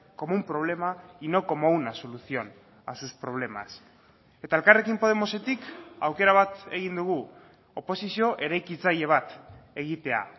como un problema y no como una solución a sus problemas eta elkarrekin podemosetik aukera bat egin dugu oposizio eraikitzaile bat egitea